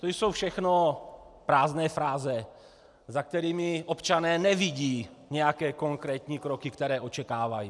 To jsou všechno prázdné fráze, za kterými občané nevidí nějaké konkrétní kroky, které očekávají.